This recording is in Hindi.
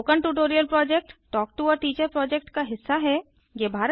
spoken tutorial project talk to a teacher project का हिस्सा है